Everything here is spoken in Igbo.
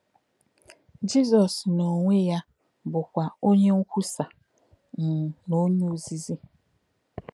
Jízọ́s n’onwe ya bụ́kwa onye nkwúsa um na onye òzìzí.